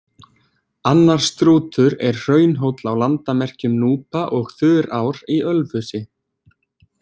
Annar Strútur er hraunhóll á landamerkjum Núpa og Þurár í Ölfusi.